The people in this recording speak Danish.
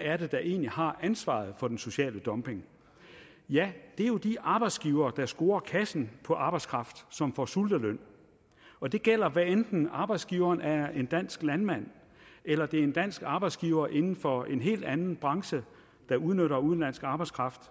er der egentlig har ansvaret for den sociale dumping ja det er jo de arbejdsgivere der scorer kassen på arbejdskraft som får sulteløn og det gælder hvad enten arbejdsgiveren er en dansk landmand eller det er en dansk arbejdsgiver inden for en helt anden branche der udnytter udenlandsk arbejdskraft